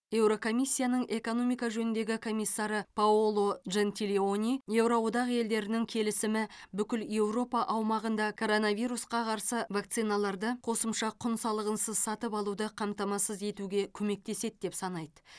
еурокомиссияның экономика жөніндегі комиссары паоло джентилони еуро одақ елдерінің келісімі бүкіл еуропа аумағында коронавирусқа қарсы вакциналарды қосымша құн салығынсыз сатып алуды қамтамасыз етуге көмектеседі деп санайды